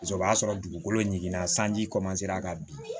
o b'a sɔrɔ dugukolo ɲiginna sanji ka bin